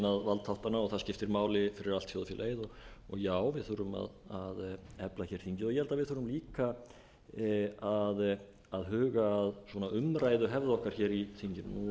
valdþáttanna og það skiptir máli fyrir allt þjóðfélagið já við þurfum að efla þingið og ég held að við þurfum líka að huga að umræðuhefð í þinginu nú er ég